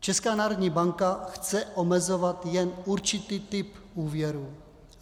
Česká národní banka chce omezovat jen určitý typ úvěrů.